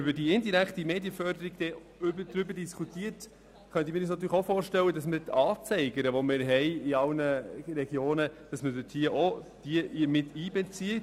Wenn man die indirekte Medienförderung diskutiert, könnte ich mir auch vorstellen, dass man die Anzeiger, die es in allen Regionen gibt, mit einbezieht.